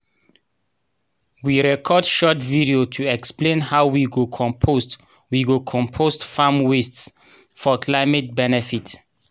we record short video to explain how we go compost we go compost farm waste for climate benefit